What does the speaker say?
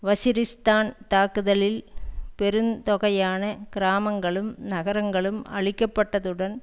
வஸிரிஸ்தான் தாக்குதலில் பெருந்தொகையான கிராமங்களும் நகரங்களும் அழிக்கப்பட்டதுடன்